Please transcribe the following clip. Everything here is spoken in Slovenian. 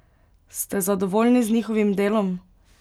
Ste zadovoljni z njihovim delom?